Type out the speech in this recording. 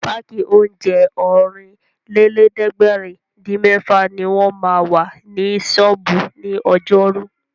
Páàkì oúnjẹ Ọ̀rìnlélẹ̀ẹ́dẹ́gbèrin-dín-mẹ́fà ní wọ́n ma wà ní ṣọ́ọ̀bú ní ọjọ́rú